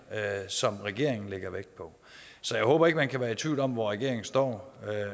som regeringen lægger vægt på så jeg håber ikke at man kan være i tvivl om hvor regeringen står